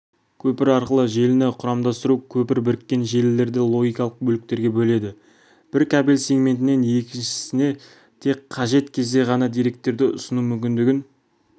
көпір арқылы желіні құрамдастыру көпір біріккен желілерді логикалық бөліктерге бөледі бір кабель сегментінен екіншісіне тек қажет кезде ғана деректерді ұсыну мүмкіндігін